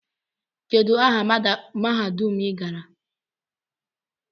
Kedu aha mahadum i gara?